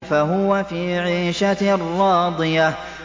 فَهُوَ فِي عِيشَةٍ رَّاضِيَةٍ